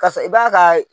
Kasɔrɔ i b'a ka